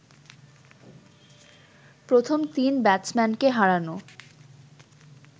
প্রথম তিন ব্যাটসম্যানকে হারানো